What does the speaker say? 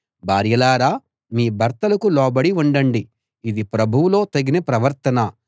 భార్యలారా మీ భర్తలకు లోబడి ఉండండి ఇది ప్రభువులో తగిన ప్రవర్తన